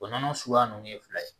O nɔnɔ suguya nunnu ye fila ye